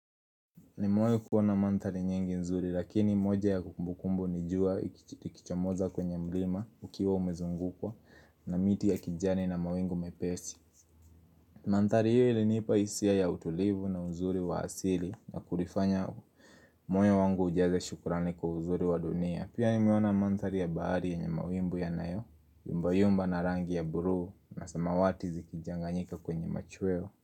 Nimewai kuona mandhari nyingi nzuri lakini moja ya kumbukumbu ni jua likichomoza kwenye mlima ukiwa umezungukwa na miti ya kijani na mawingu mepesi Mandhari hi ilinipa hisia ya utulivu na uzuri wa asili na kunifanya moyo wangu ujaze shukrani kwa uzuri wa dunia Pia nimeona mandhari ya baari yenye mawimbu yanayo, yumba yumba na rangi ya buru na samawati zikijanganyika kwenye machweo.